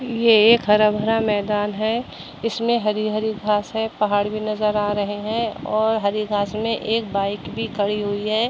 यह एक हरा भरा मैंदान है इसमें हरी-हरी घास है पहाड़ भी नजर आ रहे हैं और हरी घास में एक बाइक भी खड़ी हुई है।